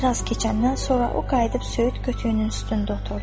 Bir az keçəndən sonra o qayıdıb söyüd kötüyünün üstündə oturdu.